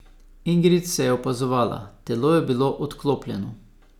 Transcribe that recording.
Ingrid se je opazovala, telo je bilo odklopljeno.